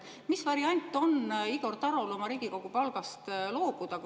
Mis variant on Igor Tarol oma Riigikogu palgast loobuda?